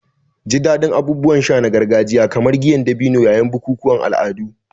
Ji daɗin abubuwan sha na gargajiya kamar giyar dabino yayin bukukuwan al'adu.